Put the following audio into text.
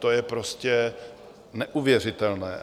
To je prostě neuvěřitelné.